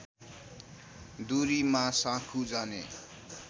दूरीमा साँखु जाने